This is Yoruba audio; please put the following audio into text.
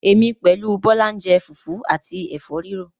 Èmi pẹ̀lú Bọlá ń jẹ́ fufu àti Ẹ̀fọ́ rírò